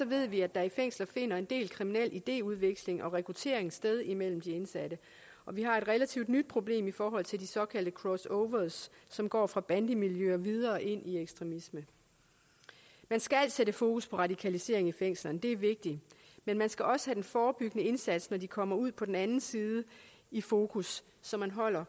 ved vi at der i fængsler finder en del kriminel idéudveksling og rekruttering sted imellem de indsatte og vi har et relativt nyt problem i forhold til de såkaldte crossovers som går fra bandemiljøer og videre ind i ekstremisme man skal sætte fokus på radikalisering i fængslerne det er vigtigt men man skal også have den forebyggende indsats når de kommer ud på den anden side i fokus så